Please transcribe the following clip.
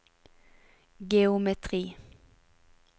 geometri